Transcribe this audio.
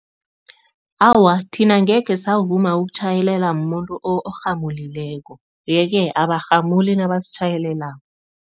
Awa, thina angekhe savuma ukutjhayelelwa mumuntu orhamulileko. Yeke abarhamuli nabasitjhayelelako.